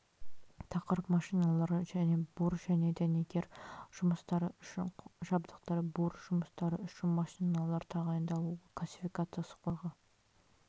тақырып машиналар және бур және дәнекер жұмыстары үшін жабдықтар бур жұмыстары үшін машиналар тағайындалуы классификациясы қондырғы